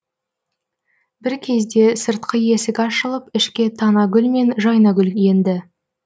бір кезде сыртқы есік ашылып ішке танагүл мен жайнагүл енді